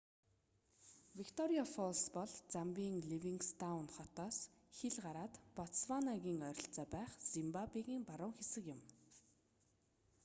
викториа фоллс бол замбийн ливингстоун хотоос хил гараад ботсванагийн ойролцоо байх зимбабегийн баруун хэсэг юм